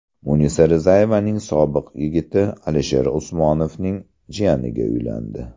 Munisa Rizayevaning sobiq yigiti Alisher Usmonovning jiyaniga uylandi .